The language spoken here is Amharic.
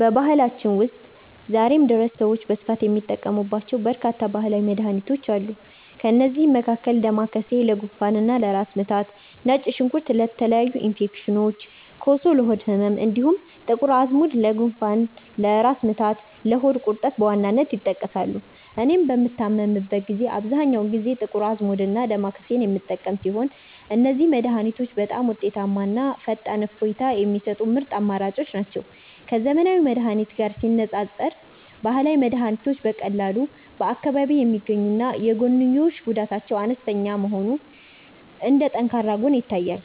በባህላችን ውስጥ ዛሬም ድረስ ሰዎች በስፋት የሚጠቀሙባቸው በርካታ ባህላዊ መድኃኒቶች አሉ። ከእነዚህም መካከል ዳማከሴ ለጉንፋንና ለራስ ምታት፣ ነጭ ሽንኩርት ለተለያዩ ኢንፌክሽኖች፣ ኮሶ ለሆድ ህመም፣ እንዲሁም ጥቁር አዝሙድ ለጉንፋን፣ ለራስ ምታትና ለሆድ ቁርጠት በዋናነት ይጠቀሳሉ። እኔም በምታመምበት ጊዜ አብዛኛውን ጊዜ ጥቁር አዝሙድና ዳማከሴን የምጠቀም ሲሆን፣ እነዚህ መድኃኒቶች በጣም ውጤታማና ፈጣን እፎይታ የሚሰጡ ምርጥ አማራጮች ናቸው። ከዘመናዊ መድኃኒት ጋር ሲነፃፀር፣ ባህላዊ መድኃኒቶች በቀላሉ በአካባቢ የሚገኙና የጎንዮሽ ጉዳታቸው አነስተኛ መሆኑ እንደ ጠንካራ ጎን ይታያል።